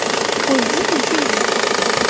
ой иди ты ничего не будет